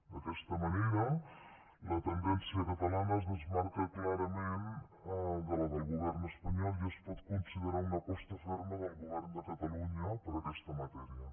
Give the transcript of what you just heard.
d’aquesta manera la tendència catalana es desmarca clarament de la del govern espanyol i es pot considerar una aposta ferma del govern de catalunya per aquesta matèria